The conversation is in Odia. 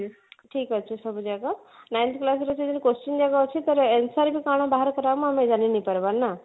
ଠିକ ଅଛି ସବୁଯାକ ninety plus ର ଯୋଉ question ଯାକ ଅଛି ତାର answer ବି କଣ ବାହାର କରିହବ ଆମେ ଜାଣି ନେଇପାରବା ନା